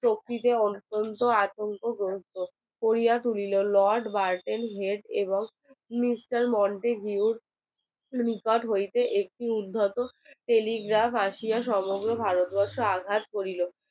শক্তির অত্যন্ত আতঙ্ক করিয়া তুলেন lord burden এনং crystal monte huge প্রণিপাত হইতে একটি উদ্ধত একটি telegraph আসিয়া সমগ্র ভারতকে আঘাত করিল